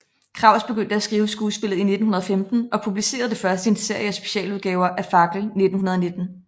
Kraus begyndte at skrive skuespillet i 1915 og publicerede det først i en serie af specialudgaver af Fackel 1919